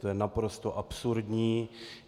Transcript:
To je naprosto absurdní.